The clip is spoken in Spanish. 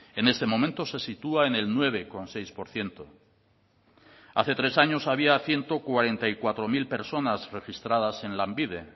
es este momento se sitúa en el nueve coma seis por ciento hace tres años había ciento cuarenta y cuatro mil personas registradas en lanbide